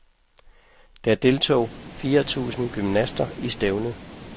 Der deltog fire tusind gymnaster i stævnet.